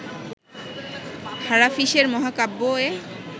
হারাফিশের মহাকাব্য এ